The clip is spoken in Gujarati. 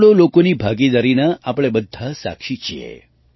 તેમાં કરોડો લોકોની ભાગીદારીના આપણે બધાં સાક્ષી છીએ